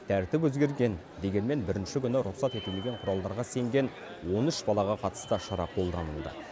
тәртіп өзгерген дегенмен бірінші күні рұқсат етілмеген құралдарға сенген он үш балаға қатысты шара қолданылды